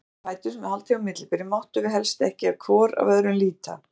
Frá því við fæddumst með hálftíma millibili máttum við helst ekki hvor af öðrum líta.